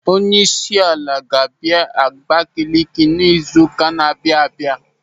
Onyeisiala ga-abịa Abakeleke n'izu ụka na-abịa abịa.